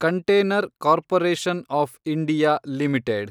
container corporation of India limited